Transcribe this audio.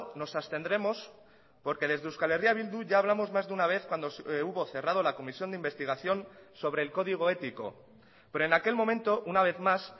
nos abstendremos porque desde euskal herria bildu ya hablamos más de una vez cuando hubo cerrado la comisión de investigación sobre el código ético pero en aquel momento una vez más